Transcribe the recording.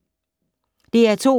DR2